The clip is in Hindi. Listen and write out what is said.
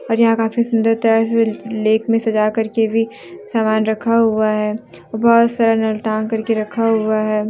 और यहां काफी सुंदर तरह से लेक में सजा करके भी समान रखा हुआ है बहोत सारा टांग करके रखा हुआ है।